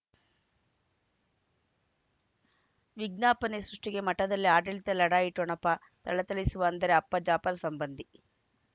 ವಿಜ್ಞಾಪನೆ ಸೃಷ್ಟಿಗೆ ಮಠದಲ್ಲಿ ಆಡಳಿತ ಲಢಾಯಿ ಠೊಣಪ ಥಳಥಳಿಸುವ ಅಂದರೆ ಅಪ್ಪ ಜಾಪರ್ ಸಂಬಂಧಿ